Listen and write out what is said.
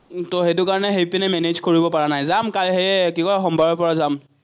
সেটো কাৰণে সেইপিনে মেনেজ কৰিব পৰা নাই। যাম সেয়ে কিবা সোমবাৰৰপৰা যাম।